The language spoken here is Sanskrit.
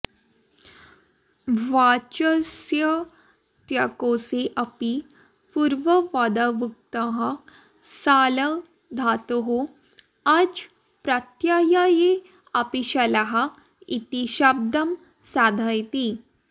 वाचस्पत्यकोषे अपि पूर्वपदयुक्तः शल धातोः अच् प्रत्ययेअपिशलः इति शब्दं साधयति